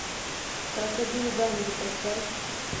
крокодил данди поставь